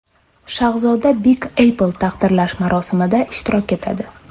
Shahzoda Big apple taqdirlash marosimida ishtirok etadi.